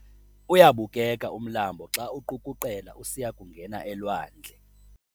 Uyabukeka umlambo xa uqukuqela usiya kungena elwandle.